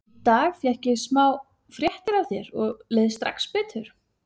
Í dag fékk ég smá fréttir af þér og leið strax betur.